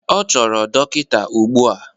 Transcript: Ọ chọrọ dọkịta ugbu a!